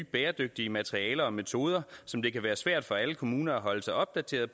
bæredygtige materialer og metoder som det kan være svært for alle kommuner at holde sig opdateret